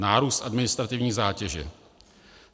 Nárůst administrativní zátěže.